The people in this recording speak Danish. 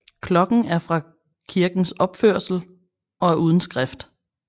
Klokken er fra kirkens opførelse og er uden skrift